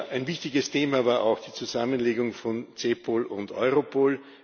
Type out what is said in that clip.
Ein wichtiges Thema war auch die Zusammenlegung von CEPOL und Europol.